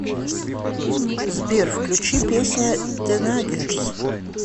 сбер включи песня тенагерс